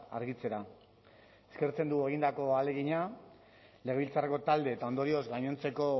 argitzera eskertzen dugu egindako ahalegina legebiltzarreko talde eta ondorioz gainontzeko